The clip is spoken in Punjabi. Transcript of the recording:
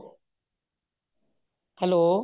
hello